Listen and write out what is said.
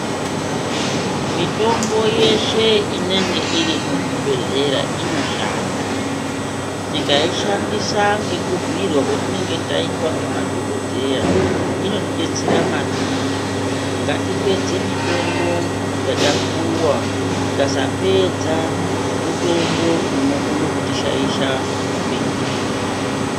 Mitombo yeshe inenge iri muzvimabhohlera inoshanda, tikaishandisa ngekubhiirwa kwetinenge taitwa nemaDhokodheya inotibetsera maningi, ngatipedze mitombo yatapuwa, tikasapedza mutombo unokona kuti shaisha upenyu hwedu.